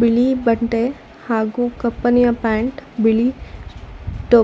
ಬಿಳಿ ಬಟ್ಟೆ ಹಾಗು ಕಪ್ಪನೆಯ ಪ್ಯಾಂಟ್ ಬಿಳಿ ಟೋಪಿ--